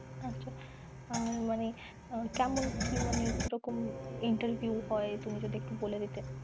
আচ্ছা, আর মানে কেমন কি মানে কিরকম interview হয় তুমি যদি একটু বলে দিতে?